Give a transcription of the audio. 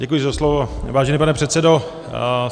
Děkuji za slovo, vážený pane předsedo.